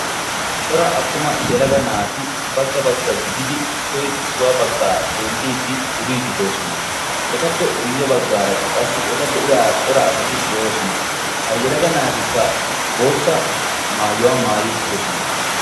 cora attuma yelaga naati bagga bagga gididi issoy issuwaa baggaa xeelliiddi duriididdoosona etappe guyye baggaarakka qassi eta be'iya cora asati de'oosona ha yalaga naatikka bootta maayuwaa maayi uttidosona